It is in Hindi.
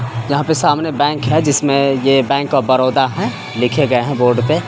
यहाँ पे सामने एक बैंक है जिसमें ये बैंक ऑफ बड़ोदा है लिखे गए हैं बोर्ड पे।